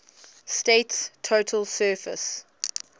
state's total surface